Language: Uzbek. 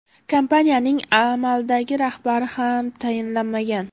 Kompaniyaning amaldagi rahbari ham tayinlanmagan.